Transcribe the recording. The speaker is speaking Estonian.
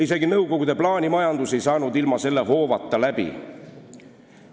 Isegi nõukogude plaanimajandus ei saanud ilma selle hoovata läbi.